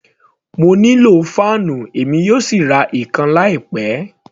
Mo nílò fáànù, èmi yóò sì ra ìkan láì pẹ.